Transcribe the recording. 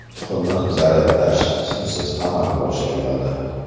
Muhimi, zaryadlash simsiz amalga oshiriladi.